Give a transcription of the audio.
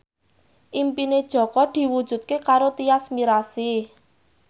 impine Jaka diwujudke karo Tyas Mirasih